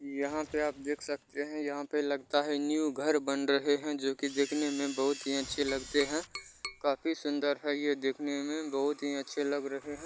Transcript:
यहाँ पे आप देख सकते है यहाँ पे लगता है न्यू घर बन रहे है जोकि देखने में बहुत ही अच्छे लगते है काफी सुंदर है ये देखने में बहुत ही अच्छे लग रहे है।